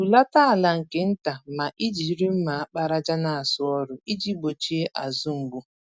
Hulata ala nke ntà ma ijiri mma àkpàràjà n'asụ ọrụ, iji gbochie azụ-mgbu